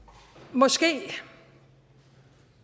måske